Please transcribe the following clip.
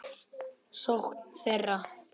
sókn þeirra?